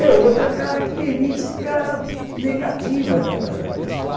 É outra característica negativa da da da pessoa.